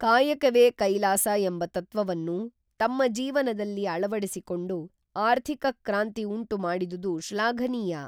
ಕಾಯಕವೇ ಕೈಲಾಸ ಎಂಬ ತತ್ವವನ್ನು ತಮ್ಮ ಜೀವನದಲ್ಲಿ ಅಳವಡಿಸಿಕೊಂಡು ಆರ್ಥಿಕ ಕ್ರಾಂತಿ ಉಂಟು ಮಾಡಿದುದು ಶ್ಲಾಘನೀಯ